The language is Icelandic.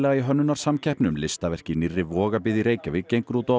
í hönnunarsamkeppni um listaverk í nýrri Vogabyggð í Reykjavík gengur út á að